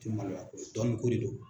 Ti maloyako ye dɔnniko de don.